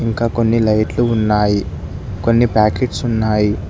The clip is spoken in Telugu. ఇంక కొన్ని లైట్లు ఉన్నాయి కొన్ని ప్యాకెట్స్ ఉన్నాయి.